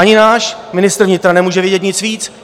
Ani náš ministr vnitra nemůže vědět nic víc.